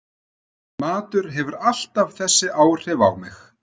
Matur hefur alltaf þessi áhrif á mig